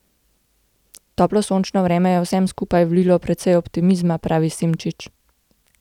Toplo sončno vreme je vsem skupaj vlilo precej optimizma, pravi Simšič.